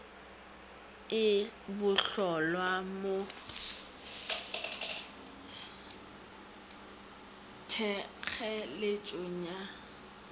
e bohlolwa mo thekgeletšong ya